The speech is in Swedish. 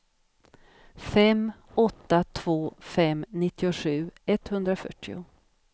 fem åtta två fem nittiosju etthundrafyrtio